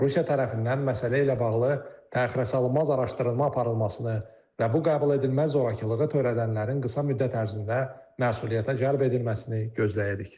Rusiya tərəfindən məsələ ilə bağlı təxirəsalınmaz araşdırma aparılmasını və bu qəbuledilməz zorakılığı törədənlərin qısa müddət ərzində məsuliyyətə cəlb edilməsini gözləyirik.